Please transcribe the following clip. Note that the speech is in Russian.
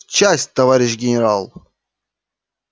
в часть товарищ генерал